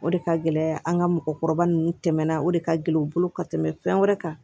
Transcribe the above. O de ka gɛlɛn an ka mɔgɔkɔrɔba nunnu tɛmɛna o de ka gɛlɛn u bolo ka tɛmɛ fɛn wɛrɛ kan